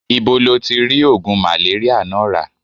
Ibo lo ti ri ogun maleria naa ra?